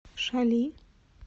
шали